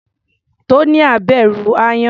Tonia bẹ̀rù aáyán.